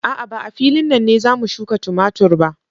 A'a, ba a filin nan ne za mu shuka tumatur ba.